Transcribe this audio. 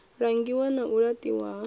langiwa na u laṱiwa ha